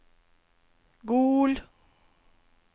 Gol